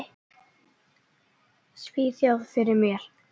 Svíþjóð fyrir mér.